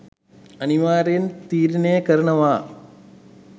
අනිවාර්යෙන් තීරණය කරනව